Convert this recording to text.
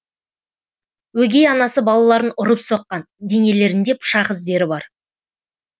өгей анасы балаларын ұрып соққан денелерінде пышақ іздері бар